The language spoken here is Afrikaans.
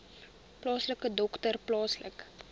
plaaslike dokter plaaslike